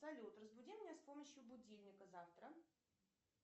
салют разбуди меня с помощью будильника завтра